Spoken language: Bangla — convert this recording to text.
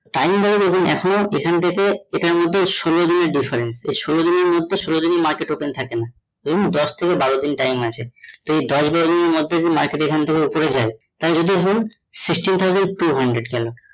time value এখন এখানে থেকে এটার মধ্যে ষোলো দিনের difference এই সোলো দিনের মধ্যে সোলো দিনই market open থাকে না, দশ থেকে বারোর দিন টা time আছে, তা এই দশ বারো দিনের মধ্যে এখানে থেকে যদি market ওপরে যায় তাহলে ধরুন sixteen thousand two hundred গেল